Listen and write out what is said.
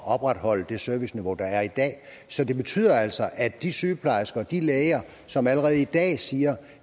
opretholde det serviceniveau der er i dag så det betyder altså at de sygeplejersker og de læger som allerede i dag siger at